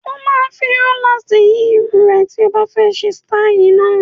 O máa fi róláàsì yí irun rẹ tí o bá fẹ́ ṣe sítáì náà.